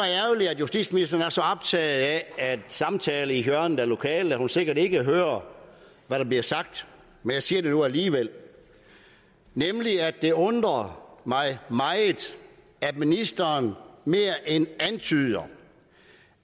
at justitsministeren er så optaget af at samtale i hjørnet af lokalet at hun sikkert ikke hører hvad der bliver sagt men jeg siger det nu alligevel nemlig at det undrer mig meget at ministeren mere end antyder